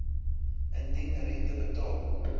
indien rente betaal